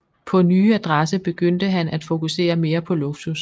På nye adresse begyndte han at fokusere mere på luksus